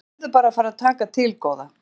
Og þú verður bara að fara að taka til góða.